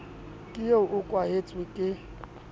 ke eo o kwenehetswe ke